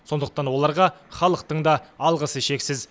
сондықтан оларға халықтың да алғысы шексіз